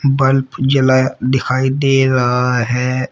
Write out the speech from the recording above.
Bulb जलाया दिखाई दे रहा है।